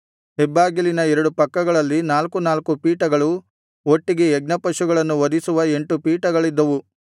ಹೆಬ್ಬಾಗಿಲಿನ ಎರಡು ಪಕ್ಕಗಳಲ್ಲಿ ನಾಲ್ಕು ನಾಲ್ಕು ಪೀಠಗಳು ಒಟ್ಟಿಗೆ ಯಜ್ಞಪಶುಗಳನ್ನು ವಧಿಸುವ ಎಂಟು ಪೀಠಗಳಿದ್ದವು